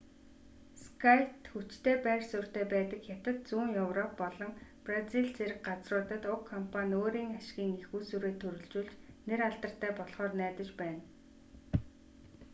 скайт хүчтэй байр суурьтай байдаг хятад зүүн европ болон бразил зэрэг газруудад уг компани өөрийн ашгийн эх үүсвэрээ төрөлжүүлж нэр алдартай болхоор найдаж байна